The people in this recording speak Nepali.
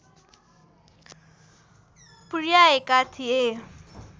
पुर्‍याएका थिए